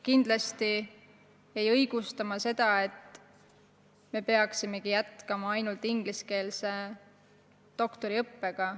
Kindlasti ei arva ma, et me peaksime jätkama ainult ingliskeelse doktoriõppega.